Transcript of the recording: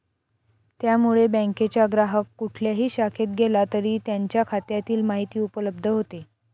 त्यामुळे बँकेच्या ग्राहक कुठल्याही शाखेत गेला तरी त्यांच्या खात्यातील माहिती उपलब्ध होते.